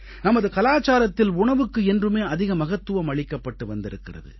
நமது கலாச்சாரத்தில் உணவுக்கு என்றுமே அதிக மகத்துவம் அளிக்கப்பட்டு வந்திருக்கிறது